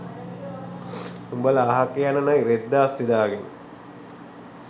උඹල අහක යන නයි රෙද්ද අස්සේ දාගෙන